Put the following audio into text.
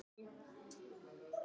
Nei, nei, þeir létu ekki sjá sig